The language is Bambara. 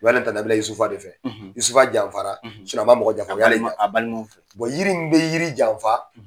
U b'ale ta nabila Yusufa de fɛ , ,Yusufa de janfara a ma mɔgɔ janfa, o y'ale, a balimaw fɛ. yiri min bɛ yiri janfa,